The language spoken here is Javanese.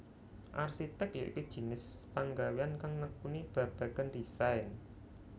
Arsitèk ya iku jinis panggawéyan kang nekuni babagan desain